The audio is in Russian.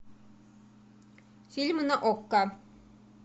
фильмы на окко